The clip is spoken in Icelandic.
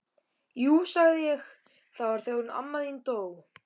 Jú sagði ég, það var þegar hún amma þín dó